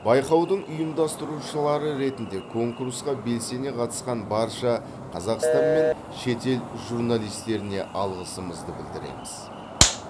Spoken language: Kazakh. байқаудың ұйымдастырушылары ретінде конкурсқа белсене қатысқан барша қазақстан мен шетел журналистеріне алғысымызды білдіреміз